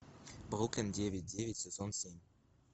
бруклин девять девять сезон семь